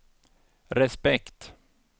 respekt